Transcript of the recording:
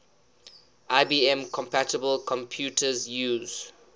ibm compatible computers use